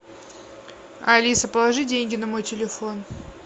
алиса положи деньги на мой телефон